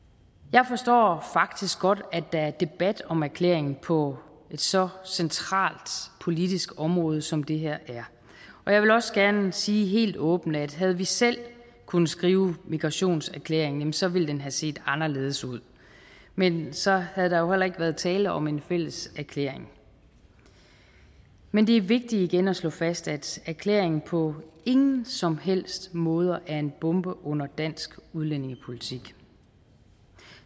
jeg forstår faktisk godt at der er debat om erklæringen på et så centralt politisk område som det her er og jeg vil også gerne sige helt åbent at havde vi selv kunnet skrive migrationserklæringen så ville den have set anderledes ud men så havde der heller ikke været tale om en fælles erklæring men det er vigtigt igen at slå fast at erklæringen på ingen som helst måde er en bombe under dansk udlændingepolitik